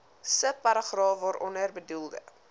subparagraaf waaronder bedoelde